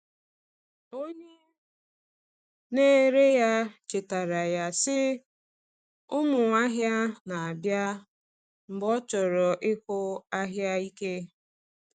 Onye na-ere ya chetaara ya, sị, “Ụmụ ahịa na-abịa,” mgbe ọ chọrọ ịkụ ahịa ike.